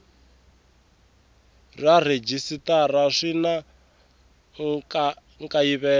na rhejisitara swi na nkayivelo